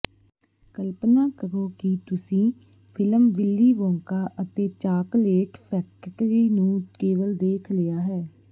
ਕਲਪਨਾ ਕਰੋ ਕਿ ਤੁਸੀਂ ਫਿਲਮ ਵਿਲੀ ਵੋਂਕਾ ਅਤੇ ਚਾਕਲੇਟ ਫੈਕਟਰੀ ਨੂੰ ਕੇਵਲ ਦੇਖ ਲਿਆ ਹੈ